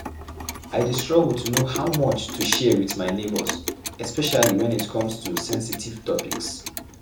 I dey struggle to know how much to share with my neighbors, especially when it come to sensitive topics.